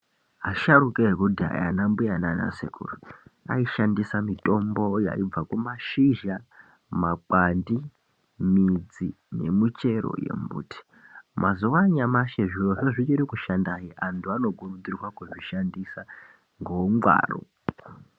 Asharuka ekudhaya ana mbuya naana sekuru aishandisa mitombo yaibva kumashizha, makwati, midzi nemichero yembuti, mazuva anyamashi zviro zvoo zvichiri kushanda hee antu anokurudzirwa kuzvishandisa ngoungwaru.